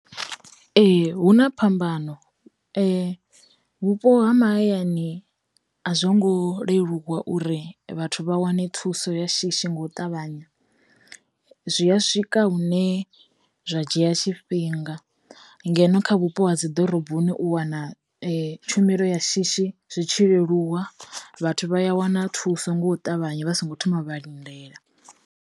Ee hu na phambano, vhupo ha mahayani a zwo ngo leluwa uri vhathu vha wane thuso ya shishi ngau ṱavhanya, zwi a swika hune zwa dzhia tshifhinga, ngeno kha vhupo ha dzi ḓoroboni u wana tshumelo ya shishi zwi tshi leluwa, vhathu vha a wana thuso ngo ṱavhanya vha songo thoma vha lindela.